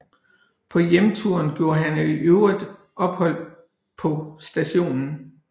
På hjemturen gjorde han i øvrigt ophold på St